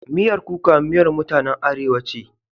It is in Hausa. Miyar kuka miyar mutanen Arewa ce.